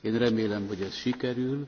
Én remélem, hogy ez sikerül.